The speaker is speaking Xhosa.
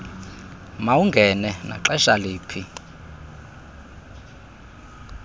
mawungene naxesha liphi